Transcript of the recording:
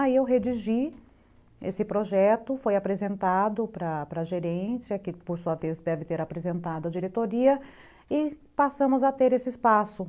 Aí eu redigi esse projeto, foi apresentado para para a gerência, que por sua vez deve ter apresentado a diretoria, e passamos a ter esse espaço.